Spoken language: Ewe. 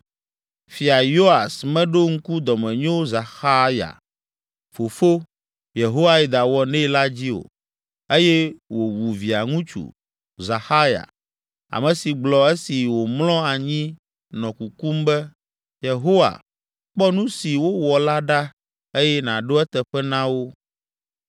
Fia Yoas meɖo ŋku dɔmenyo Zaxarya fofo, Yehoiada, wɔ nɛ la dzi o eye wòwu Via ŋutsu, Zaxarya, ame si gblɔ esi wòmlɔ anyi nɔ kukum be, “Yehowa, kpɔ nu si wowɔ la ɖa eye nàɖo eteƒe na wo.”